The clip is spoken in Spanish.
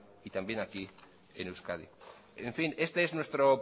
y también aquí en euskadi en fin este es nuestro